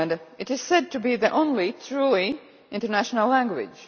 It is said to be the only truly international language.